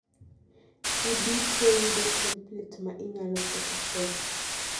ibitro yudo template ma inyalo photocopy